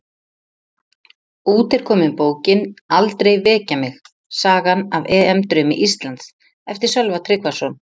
Út er komin bókin Aldrei Vekja Mig, sagan af EM draumi Íslands, eftir Sölva Tryggvason